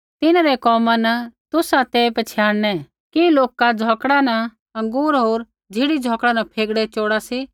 तिन्हरै कोमा न तुसा ते पछ़ियाणनै कि लोका झ़ौकड़ा न अँगूर होर ज़िढ़ी झ़ौकड़ा न फेगड़े चोड़ा सी